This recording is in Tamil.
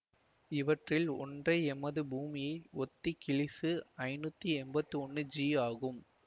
இவற்றில் ஒன்றே எமது பூமியை ஒத்த கிளீசு ஐநூத்தி எம்பத்தொன்னு ஜி ஆகும்